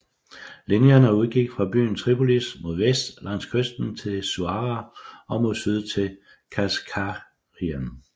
Linjerne udgik fra byen Tripolis mod vest langs kysten til Suara og mod syd til Kasr Gharian